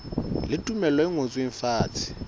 le tumello e ngotsweng fatshe